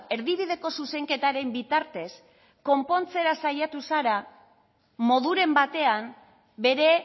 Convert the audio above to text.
erdibideko zuzenketaren bitartez konpontzera saiatu zara moduren batean bere